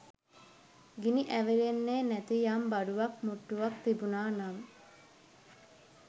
ගිනි ඇවිල්ලෙන්නෙ නැති යම් බඩුවක් මුට්ටුවක් තිබුනා නම්